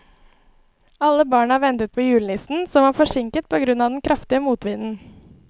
Alle barna ventet på julenissen, som var forsinket på grunn av den kraftige motvinden.